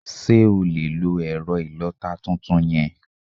Sé o lè lo èrẹ̀ ìlota tuntun yen?